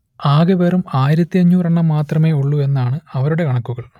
ആകെ വെറും ആയിരത്തിയഞ്ഞൂറ് എണ്ണം മാത്രമേ ഉള്ളൂ എന്നാണ് അവരുടെ കണക്കുകൾ